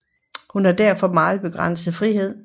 Hun havde derfor meget begrænset frihed